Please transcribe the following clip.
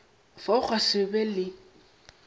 fao gwa se be le